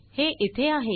हे इथे आहे